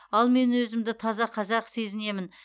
ал мен өзімді таза қазақ сезінемін